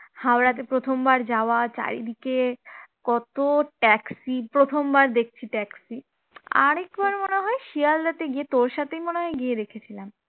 হাওড়াতে প্রথমবার যাওয়া চারিদিকে কত taxi প্রথমবার দেখছি taxi আরেকবার মনে হয় শিয়ালদাতে গিয়ে তোর সাথে মনে হয় দেখেছিলাম